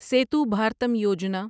Setu Bharatam Yojana